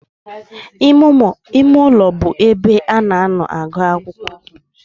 Ime ulo be ebe a na-agu akwukwo.